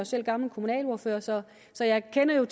selv gammel kommunalordfører så så jeg kender